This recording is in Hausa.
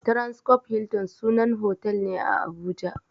Transcorp Hilton sunan hotel ne a Abuja.